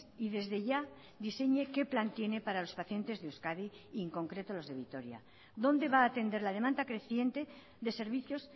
y desde ya diseñe qué plan tiene para los pacientes de euskadi y en concreto los de vitoria dónde va a atender la demanda creciente de servicios